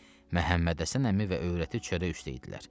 Məhəmməd Həsən əmi və öyrəti çörək üstə idilər.